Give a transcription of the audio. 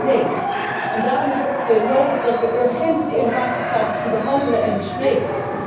Nee, en daarom is het nodig dat we urgent die innovatiestrategie behandelen en bespreken.